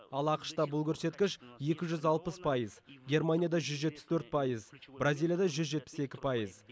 ал ақш та бұл көрсеткіш екі жүз алпыс пайыз германияда жүз жетпіс төрт пайыз бразилияда жүз жетпіс екі пайыз